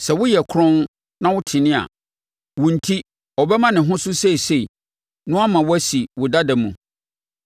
sɛ woyɛ kronn, na wotene a, wo enti, ɔbɛma ne ho so seesei na wama wo asi wo dada mu.